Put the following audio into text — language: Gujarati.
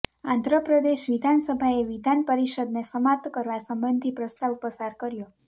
આંધ્રપ્રદેશ વિધાનસભાએ વિધાન પરિષદને સમાપ્ત કરવા સંબંધી પ્રસ્તાવ પસાર કર્યો